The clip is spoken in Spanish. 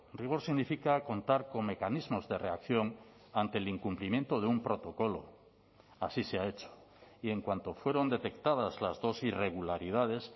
rigor significa contar con mecanismos de reacción ante el incumplimiento de un protocolo así se ha hecho y en cuanto fueron detectadas las dos irregularidades